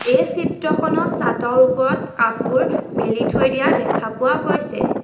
এই চিত্ৰখনত ছাতৰ ওপৰত কাপোৰ মেলি থৈ দিয়া দেখা পোৱা গৈছে।